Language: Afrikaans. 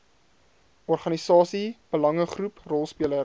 organisasie belangegroep rolspeler